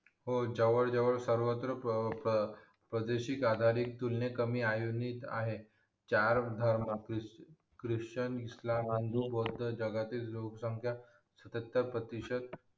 हो जवळ जवळ सर्वत्र चार धर्म ख्रिचन इस्लाम आणि भौध जगातील लोक संख्या सतार प्रतिशत